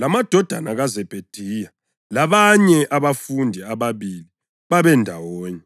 lamadodana kaZebhediya labanye abafundi ababili babendawonye.